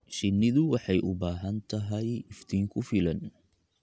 Shinnidu waxay u baahan tahay iftiin ku filan.